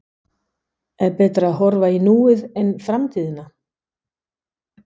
Er betra að horfa í núið en framtíðina?